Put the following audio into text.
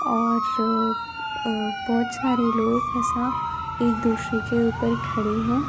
और अ बोहोत छारे लोग हैं एक दूसरे के ऊपर खड़े हैं।